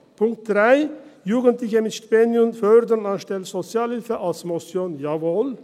Punkt 3, Jugendliche mit Stipendium fördern anstelle von Sozialhilfe: als Motion jawohl.